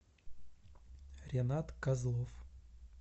ренат козлов